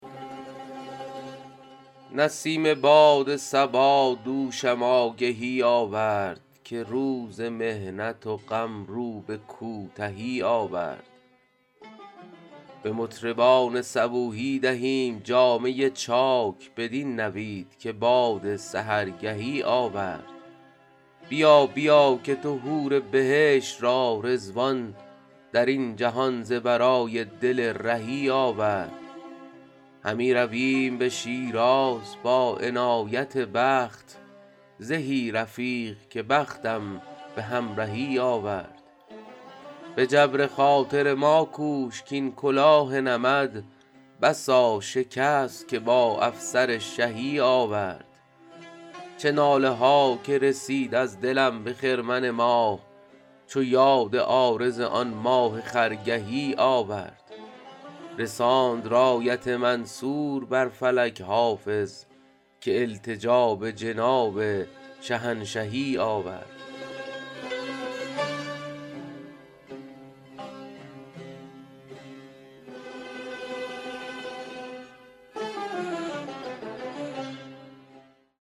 برید باد صبا دوشم آگهی آورد که روز محنت و غم رو به کوتهی آورد به مطربان صبوحی دهیم جامه چاک بدین نوید که باد سحرگهی آورد بیا بیا که تو حور بهشت را رضوان در این جهان ز برای دل رهی آورد همی رویم به شیراز با عنایت دوست زهی رفیق که بختم به همرهی آورد به جبر خاطر ما کوش کـ این کلاه نمد بسا شکست که با افسر شهی آورد چه ناله ها که رسید از دلم به خرمن ماه چو یاد عارض آن ماه خرگهی آورد رساند رایت منصور بر فلک حافظ که التجا به جناب شهنشهی آورد